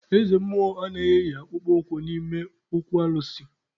Eze mmụọ anaghị eyi akpụkpọ ụkwụ n'ime okwu alụsị.